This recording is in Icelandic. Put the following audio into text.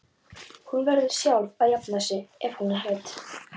Hún verður sjálf að jafna sig ef hún er hrædd.